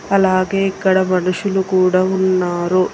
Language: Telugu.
అలాగే ఇక్కడ మనుషులు కూడా ఉన్నారు.